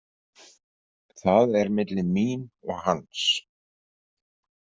Það er milli mín og hans.